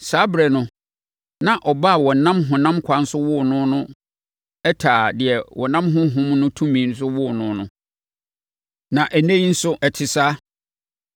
Saa ɛberɛ no na ɔba a wɔnam honam kwan so woo no no taa deɛ wɔnam Honhom no tumi mu woo no no. Na ɛnnɛ yi nso, ɛte saa.